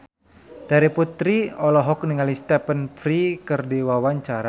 Terry Putri olohok ningali Stephen Fry keur diwawancara